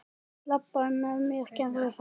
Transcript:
Labbaðu með mér, gerðu það!